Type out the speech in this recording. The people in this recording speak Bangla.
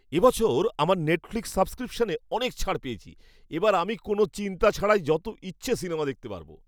এবছর আমার নেটফ্লিক্স সাবস্ক্রিপশনে অনেক ছাড় পেয়েছি। এবার আমি কোনও চিন্তা ছাড়াই যত ইচ্ছা সিনেমা দেখতে পারবো।